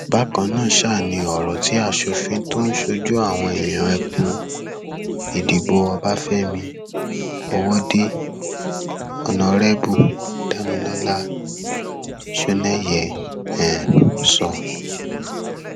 bákan náà um ni ọrọ tí asòfin tó ń ṣojú àwọn èèyàn ẹkùn ìdìbò ọbáfẹmi ọwọde onárẹbù damilọlá sọnẹyẹ um sọ